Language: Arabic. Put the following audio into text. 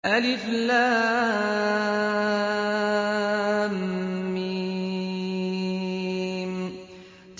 الم